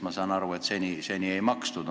Ma saan aru, et seni ei makstud.